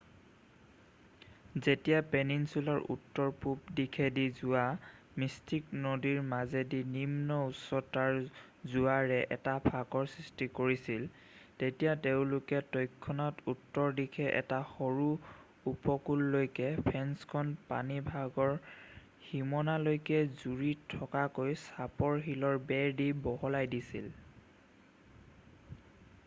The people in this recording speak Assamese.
যেতিয়া পেনিনচুলাৰ উত্তৰ-পূৱ দিশেদি যোৱা মিষ্টিক নদীৰ মাজেদি নিম্ন উচ্চতাৰ জোৱাৰে এটা ফাঁকৰ সৃষ্টি কৰিছিল তেতিয়া তেওঁলোকে তৎক্ষণাত উত্তৰ দিশে এটা সৰু উপকূললৈকে ফেন্সখন পানীভাগৰ সীমনালৈকে জুৰি থকাকৈ চাপৰ শিলৰ বেৰ দি বহলাই দিছিল